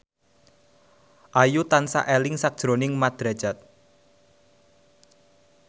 Ayu tansah eling sakjroning Mat Drajat